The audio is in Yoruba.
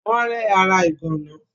Wọ́n rẹ́ ara ìgànná.